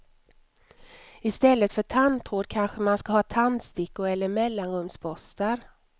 I stället för tandtråd kanske man ska ha tandstickor eller mellanrumsborstar.